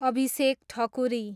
Abhishek Thakuri